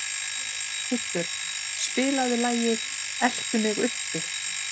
Kubbur, spilaðu lagið „Eltu mig uppi“.